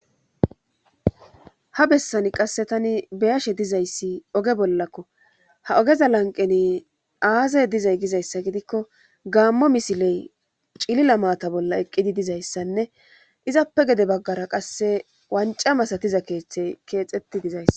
ha bessani qasse tani beyashe dizayssi oge bollakko ha ogeza lanqeni aazey dizay gizayssa gidikko gaammo misiley cilila maata bolla eqqidi dizayssanne izappe gede baggara qasse wanca masatiza keeththe keexetti dizayss